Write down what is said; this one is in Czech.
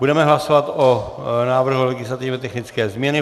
Budeme hlasovat o návrhu legislativně technické změny.